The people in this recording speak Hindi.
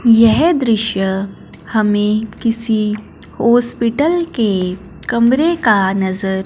यह दृश्य हमें किसी हॉस्पिटल के कमरे का नजर--